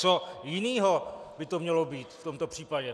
Co jiného by to mělo být v tomto případě?